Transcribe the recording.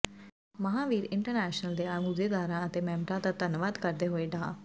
Mahavir international ਦੇ ਅਹੁਦੇਦਾਰਾਂ ਅਤੇ ਮੈਂਬਰਾਂ ਦਾ ਧੰਨਵਾਦ ਕਰਦੇ ਹੋਏ ਡਾ